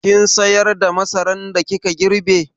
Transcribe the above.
Kin sayar da masaran da kika girbe?